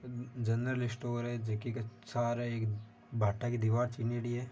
General store है जे की के सारे है बाटा की दिवार चिनेडी है।